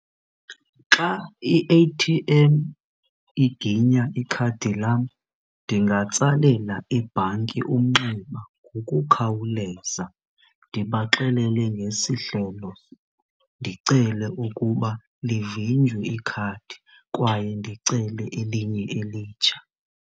Xa i-A_T_M iginya ikhadi lam ndingatsalela ibhanki umnxeba ngokukhawuleza ndibaxelele ngesi hlelo, ndicele ukuba livinjwe ikhadi kwaye ndicele elinye elitsha.